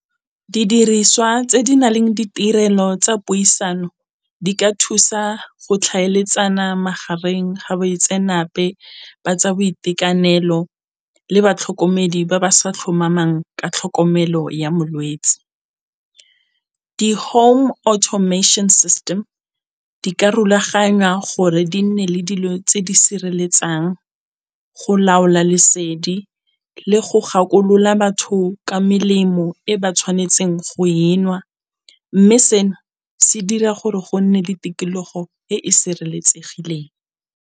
Didiriswa tse di na leng ditirelo tsa puisano di ka thusa go tlhaeletsana magareng ga baitsenape ba tsa boitekanelo le batlhokomedi ba ba sa tlhomamang ka tlhokomelo ya molwetse. Di-home automation system di ka rulaganywa gore di nne le dilo tse di sireletsang go laola lesedi le go gakolola batho ka melemo e ba tshwanetseng go enwa, mme seno se dira gore go nne le tikologo e e sireletsegileng.